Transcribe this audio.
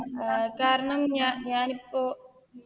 അഹ് കാരണം ഞ ഞാനിപ്പോ